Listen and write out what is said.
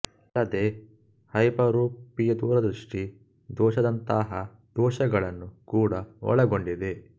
ಅಲ್ಲದೇ ಹೈಪರೋಪಿಯದೂರ ದೃಷ್ಟಿ ದೋಷ ದಂತಹ ದೋಷಗಳನ್ನು ಕೂಡ ಒಳಗೊಂಡಿದೆ